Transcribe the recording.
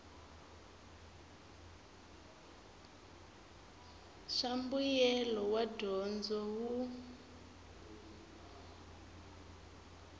swa mbuyelo wa dyondzo wun